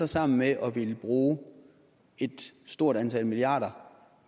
sammen med at ville bruge et stort antal milliarder